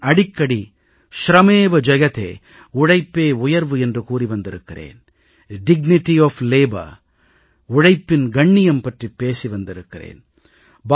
நான் அடிக்கடி ஷிரமேவ ஜெயதே உழைப்பே உயர்வு என்று கூறி வந்திருக்கிறேன் உழைப்பின் கண்ணியம் பற்றிப் பேசி வந்திருக்கிறேன்